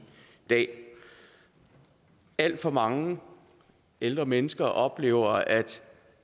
dag alt for mange ældre mennesker oplever at at se